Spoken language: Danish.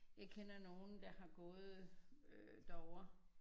Jeg kender nogen der er gået øh derover